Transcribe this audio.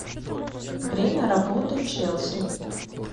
время работы челси